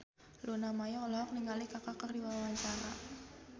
Luna Maya olohok ningali Kaka keur diwawancara